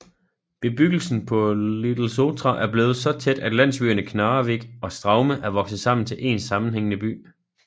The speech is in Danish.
Bebyggelsen på Litlesotra er blevet så tæt at landsbyerne Knarrevik og Straume er vokset sammen til en sammenhængende by